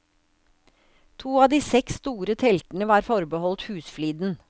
To av de seks store teltene var forbeholdt husfliden.